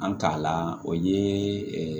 An ta la o ye